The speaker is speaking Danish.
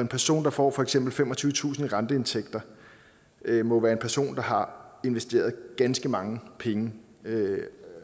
en person der får for eksempel femogtyvetusind renteindtægter må være en person der har investeret ganske mange penge